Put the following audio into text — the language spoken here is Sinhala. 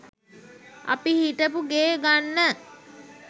අපි හිටපු ගේ ගන්න